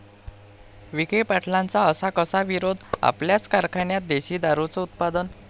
विखे पाटलांचा असा कसा विरोध?, आपल्याच कारखान्यात देशी दारूचं उत्पादन!